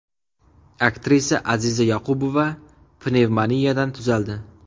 Aktrisa Aziza Yoqubova pnevmoniyadan tuzaldi.